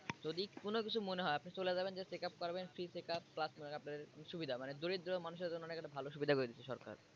যদি কোন কিছু মনে হয় আপনি চলে যাবেন যেয়ে checkup করাবেন free checkup plus মনে করেন সুবিধা মানে দরিদ্র মানুষের জন্য অনেক ভালো সুবিধা করে দিছে সরকার।